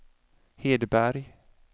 Hedberg